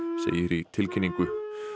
í tilkynningu